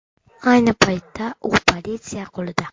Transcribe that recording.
Ayni paytda u politsiya qo‘lida.